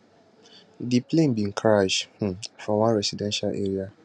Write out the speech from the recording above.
di plane bin crash um for one residential area